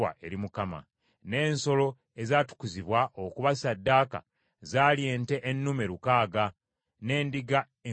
N’ensolo ezatukuzibwa okuba ssaddaaka zaali ente ennume lukaaga, n’endiga enkumi ssatu.